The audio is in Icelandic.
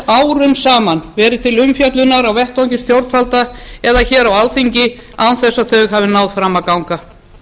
þess árum saman verið til umfjöllunar á vettvangi stjórnvalda eða hér á alþingi án þess að þau hafi náð fram að ganga